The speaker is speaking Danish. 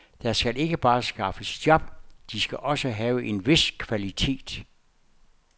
Der skal ikke bare skaffes job, de skal også have en vis kvalitet.